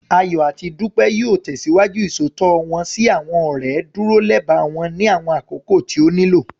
Ayọ̀ àti Dúpẹ́ yóò tẹ̀síwájú Ìṣòótọ́ wọ́n sí àwọn ọ̀rẹ́, dúró lẹba wọn ní àwọn àkókò tí ó nílò